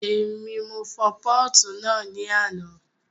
Èmi, mo fọ pọ́ọ̀tù náà ní àná